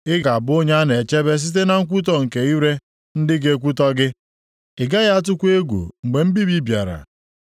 Ị ga-abụ onye a na-echebe site na nkwutọ nke ire ndị ga-ekwutọ gị. Ị gaghị atụkwa egwu mgbe mbibi bịara.